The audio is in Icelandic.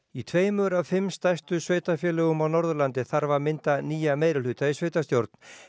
í tveimur af fimm stærstu sveitarfélögum á Norðurlandi þarf að mynda nýja meirihluta í sveitarstjórn